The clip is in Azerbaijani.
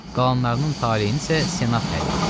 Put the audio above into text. Qalanlarının taleyini isə senat həll eləyir.